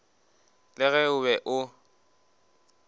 le ge o be o